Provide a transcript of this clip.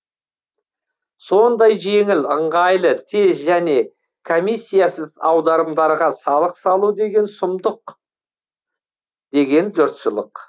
сондай жеңіл ыңғайлы тез және комиссиясыз аударымдарға салық салу деген сұмдық деген жұртшылық